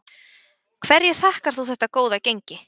Hverju þakkar þú þetta góða gengi?